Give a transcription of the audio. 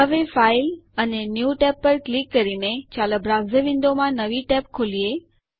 હવે ફાઇલ અને new Tab પર ક્લિક કરીને ચાલો બ્રાઉઝર વિન્ડોમાં નવી ટેબ ખોલીએ